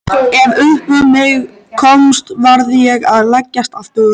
Ef upp um mig komst varð ég að leggjast aftur.